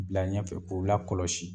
Bila ɲɛfɛ k'u lakɔlɔsi